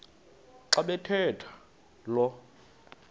xa bathetha lo